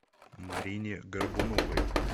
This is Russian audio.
марине горбуновой